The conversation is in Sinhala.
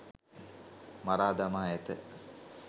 මරා දමා ඇත